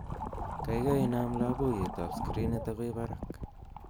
gaigai inam loboiyet ab skrinit agoi barak